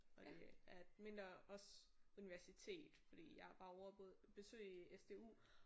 Og det er et mindre også universitet fordi jeg var ovre og besøge SDU